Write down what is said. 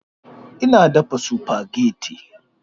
Ina dafa spaghetti